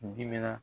Dimina